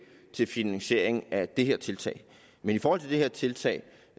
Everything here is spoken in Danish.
til finansieringen af det her tiltag men i forhold til det her tiltag